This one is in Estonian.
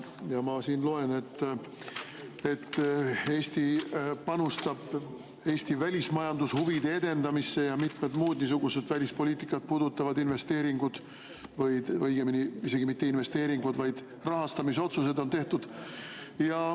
Ja ma loen, et Eesti panustab Eesti välismajandushuvide edendamisse ja on tehtud mitmed muud välispoliitikat puudutavad investeeringud, või õigemini mitte investeeringud, vaid rahastamisotsused on tehtud.